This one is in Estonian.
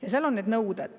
Ja seal on need nõuded.